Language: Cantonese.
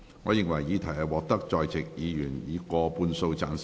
我認為議題獲得在席議員以過半數贊成。